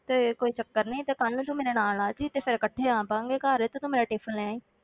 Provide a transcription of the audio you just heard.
ਤੇ ਕੋਈ ਚੱਕਰ ਨੀ ਤੇ ਕੱਲ੍ਹ ਨੂੰ ਤੂੰ ਮੇਰੇ ਨਾਲ ਆ ਜਾਈਂ, ਤੇ ਫਿਰ ਇਕੱਠੇ ਆ ਪਵਾਂਗੇ ਘਰ ਤੇ ਤੂੰ ਮੇਰਾ tiffin ਲੈ ਆਈਂ।